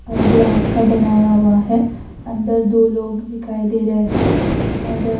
अ glass का बनाया हुआ है अंदर दो लोग दिखाई दे रहे है और--